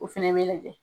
O fɛnɛ bɛ lajɛ